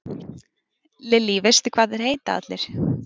Lillý: Veistu hvað þeir heita allir?